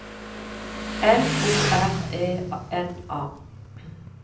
L O R E N A